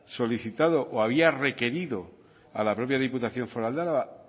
solicitado o había requerido a la propia diputación foral de álava